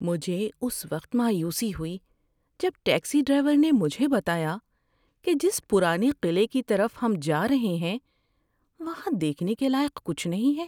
مجھے اس وقت مایوسی ہوئی جب ٹیکسی ڈرائیور نے مجھے بتایا کہ جس پرانے قلعے کی طرف ہم جا رہے ہیں وہاں دیکھنے کے لائق کچھ نہیں ہے۔